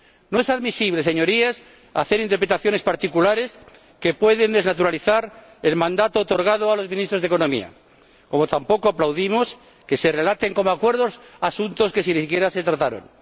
No es admisible, Señorías, hacer interpretaciones particulares que pueden desnaturalizar el mandato otorgado a los ministros de Economía, así como tampoco aplaudimos que se relaten como acuerdos asuntos que ni siquiera se trataron.